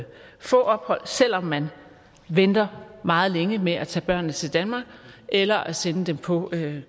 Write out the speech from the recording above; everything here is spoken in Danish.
få ophold selv om man venter meget længe med at tage børnene til danmark eller at sende dem på